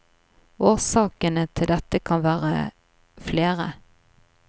Årsakene til dette kan være flere.